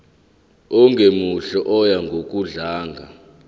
ongemuhle oya ngokudlanga